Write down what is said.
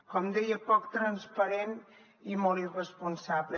com deia poc transparent i molt irresponsable